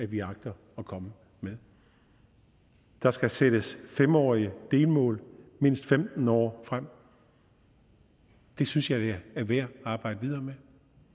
vi agter at komme med der skal sættes fem årige delmål mindst femten år frem det synes jeg er værd at arbejde videre med